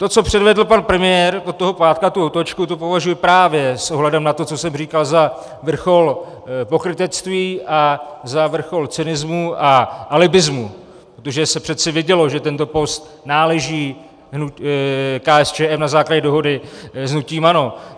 To, co předvedl pan premiér od toho pátku, tu otočku, to považuju právě s ohledem na to, co jsem říkal, za vrchol pokrytectví a za vrchol cynismu a alibismu, protože se přeci vědělo, že tento post náleží KSČM na základě dohody s hnutím ANO.